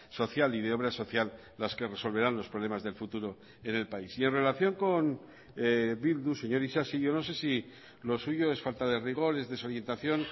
social y de obra social las que resolverán los problemas del futuro en el país y en relación con bildu señor isasi yo no sé si lo suyo es falta de rigor es desorientación